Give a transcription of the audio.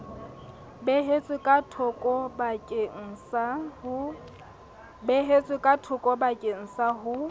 beehetswe ka thokobakeng sa ho